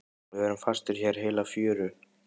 Við verðum fastir hér heila fjöru.